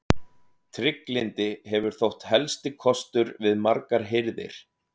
Trygglyndi hefur þótt helsti kostur við margar hirðir.